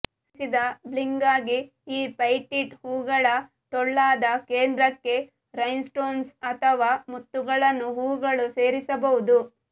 ಸೇರಿಸಿದ ಬ್ಲಿಂಗ್ಗಾಗಿ ಈ ಪೆಟಿಟ್ ಹೂವುಗಳ ಟೊಳ್ಳಾದ ಕೇಂದ್ರಕ್ಕೆ ರೈನ್ಸ್ಟೋನ್ಸ್ ಅಥವಾ ಮುತ್ತುಗಳನ್ನು ಹೂವುಗಳು ಸೇರಿಸಬಹುದು